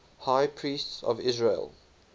high priests of israel